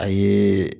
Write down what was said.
A ye